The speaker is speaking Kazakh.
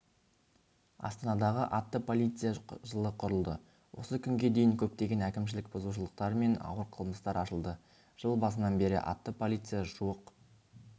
астанадағы атты полиция жылы құрылды осы күнге дейін көптеген әкімшілік бұзушылықтар мен ауыр қылмыстар ашылды жыл басынан бері атты полиция жуық